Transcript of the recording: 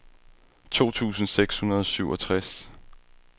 to tusind seks hundrede og syvogtres